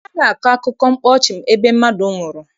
Anaghị akọ akụkọ mkpa ọchị ebe mmadụ nwụrụ.